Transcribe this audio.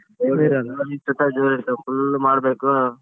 ಜೋರ್ ಇರ್ತವ್ full ಮಾಡ್ಬೇಕು.